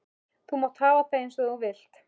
Þú mátt hafa það eins og þú vilt.